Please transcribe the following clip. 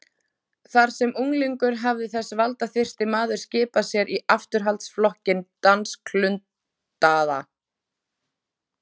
Þegar sem unglingur hafði þessi valdaþyrsti maður skipað sér í afturhaldsflokkinn dansklundaða